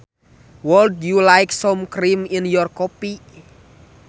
Would you like some cream in your coffee